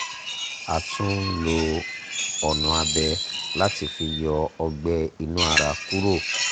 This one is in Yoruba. a tún lo ọ̀nà abẹ láti fi yọ ọgbẹ́ inú ara kúrò